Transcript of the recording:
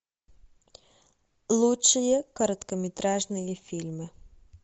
лучшие короткометражные фильмы